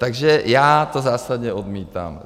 Takže já to zásadně odmítám!